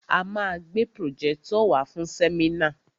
A ma gbé pròjẹ́tọ̀ wàá fún sẹ́mínà.